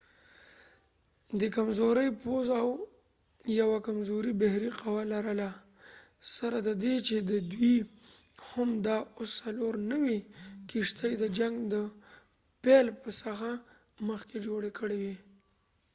دي کمزوری پوځ او یوه کمزوری بحری قوه لرله سره ددې چې دوي هم دا اوس څلور نوي کښتی د جنګ د پیل څخه مخکې جوړی کړي وي